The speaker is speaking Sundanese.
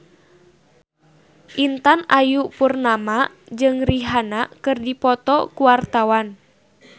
Intan Ayu Purnama jeung Rihanna keur dipoto ku wartawan